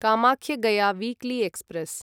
Kamakhya Gaya weekly express